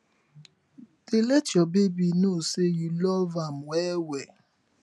dey let yur baby no say yu luv am wel wel